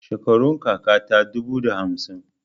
Shekarun kaka ta dubu da hamsin.